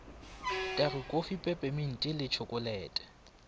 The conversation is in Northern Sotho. tagi kofi pepeminti le tšhokolete